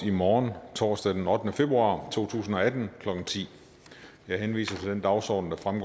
i morgen torsdag den ottende februar to tusind og atten klokken ti jeg henviser til den dagsorden der fremgår